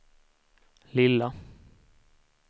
lilla